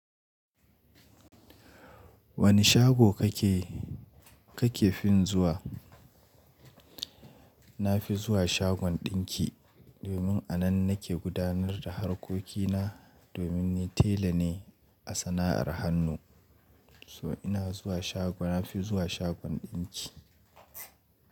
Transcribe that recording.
Wani shago kake, kake fin zuwa? Na fi zuwa shagon ɗinki domin a nan nake gudanar da harkokina, domin ni tela ne a sana'ar hannu. So ina zuwa shago, na fi zuwa shagon ɗinki.